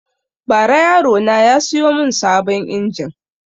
Ba ra yaro na ya siyo mun sabon injin